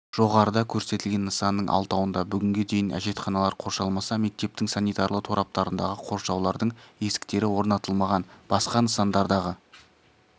жоғарыда көрсетілген нысанның алтауында бүгінге дейін әжетханалар қоршалмаса мектептің санитарлы тораптарындағы қоршаулардың есіктері орнатылмаған басқа нысандардағы